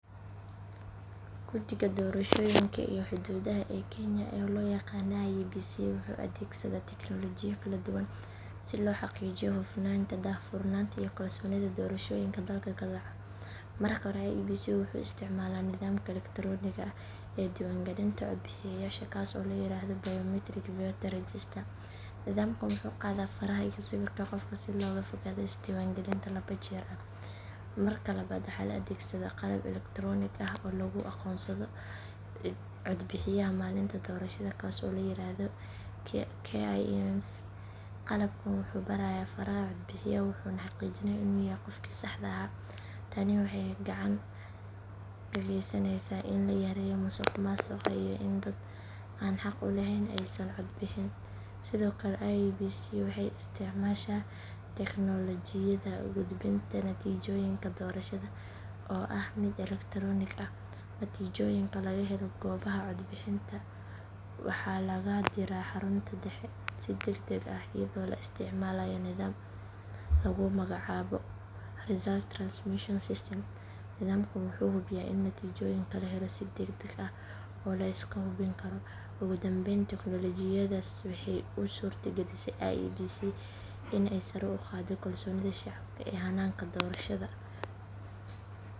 Guddiga Doorashooyinka iyo Xuduudaha ee Kenya, oo loo yaqaan IEBC, wuxuu adeegsadaa teknoolojiyado kala duwan si loo xaqiijiyo hufnaanta, daahfurnaanta iyo kalsoonida doorashooyinka dalka ka dhaca. Marka hore IEBC wuxuu isticmaalaa nidaamka elektaroonigga ah ee diiwaangelinta codbixiyayaasha kaas oo la yiraahdo Biometric Voter Registration. Nidaamkan wuxuu qaadaa faraha iyo sawirka qofka si looga fogaado isdiiwaangelin laba jeer ah. Marka labaad waxaa la adeegsadaa qalab elektaroonig ah oo lagu aqoonsado codbixiyaha maalinta doorashada kaas oo la yiraahdo KIEMS. Qalabkan wuxuu baarayaa faraha codbixiyaha wuxuuna xaqiijinayaa inuu yahay qofkii saxda ahaa. Tani waxay gacan ka geysaneysaa in la yareeyo musuqmaasuqa iyo in dad aan xaq u laheyn aysan cod bixin. Sidoo kale IEBC waxay isticmaashaa teknoolojiyada gudbinta natiijooyinka doorashada oo ah mid elektaroonig ah. Natiijooyinka laga helo goobaha codbixinta waxaa lagu diraa xarunta dhexe si degdeg ah iyadoo la isticmaalayo nidaam lagu magacaabo Result Transmission System. Nidaamkan wuxuu hubiyaa in natiijooyinka la helo si degdeg ah oo la iska hubin karo. Ugu dambeyn teknoolojiyadaasi waxay u suurtagelisay IEBC in ay sare u qaaddo kalsoonida shacabka ee hanaanka doorashada.